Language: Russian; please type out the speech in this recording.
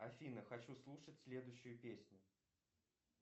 афина хочу слушать следующую песню